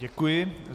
Děkuji.